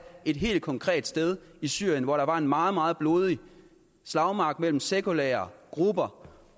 et helt konkret sted i syrien hvor der var en meget meget blodig slagmark mellem sekulære grupper